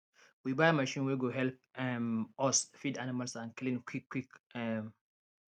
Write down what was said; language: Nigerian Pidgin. we buy machine wey go help um us feed animals and clean quick quick um